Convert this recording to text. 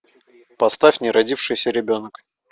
поставь неродившийся ребенок